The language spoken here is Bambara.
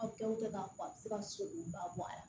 Aw kɛw tɛ k'a fɔ a bɛ se ka sogo ba bɔ a la